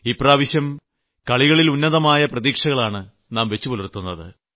ഇപ്രാവശ്യം ഗെയിംസിൽ ഉന്നതമായ പ്രതീക്ഷകളാണ് നാം വച്ചുപുലർത്തുന്നത്